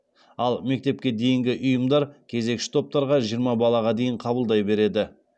ал мектепке дейінгі ұйымдар кезекші топтарға жиырма балаға дейін қабылдай береді